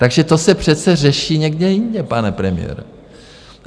Takže to se přece řeší někde jinde, pane premiére.